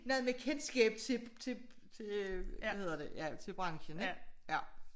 Noget med kendskab til til hvad hedder det ja til branchen ik ja